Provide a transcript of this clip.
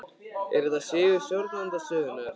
Er þetta sigur stjórnarandstöðunnar?